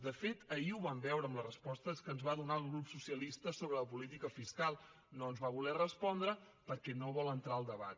de fet ahir ho vam veure amb les respostes que ens va donar al grup socialista sobre la política fiscal no ens va voler respondre perquè no vol entrar al debat